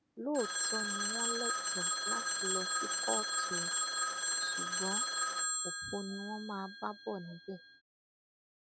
lóòótọ ni wọn lẹtọọ láti lọ sí kóòtù o ṣùgbọn ọfọ ni wọn máa bá bọ níbẹ